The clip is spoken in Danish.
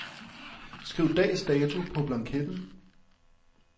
Skriv dags dato på blanketten.